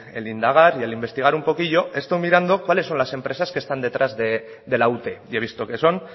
el indagar y el investigar un poquillo he estado mirando cuáles son las empresas detrás de la ute y he visto que son